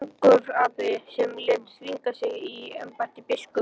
Angurgapi sem lét þvinga sig í embætti biskups.